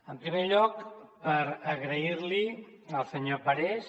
en primer lloc per agrair al senyor parés